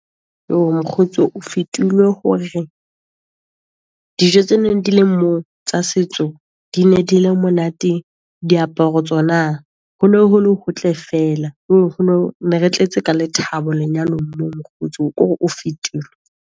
Mokgotsi o fetilwe ho re, dijo tse neng di le mo tsa setso di ne di le monate, diaparo tsona. Ho no hole hotle feela ne re tletse ka lethabo lenyalong moo mokgotsi, ko re o fetilwe.